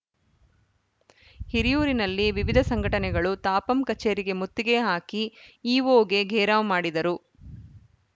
ಹಿರಿಯೂರಿನಲ್ಲಿ ವಿವಿಧ ಸಂಘಟನೆಗಳು ತಾಪಂ ಕಚೇರಿಗೆ ಮುತ್ತಿಗೆ ಹಾಕಿ ಇಒಗೆ ಘೇರಾವ್‌ ಮಾಡಿದರು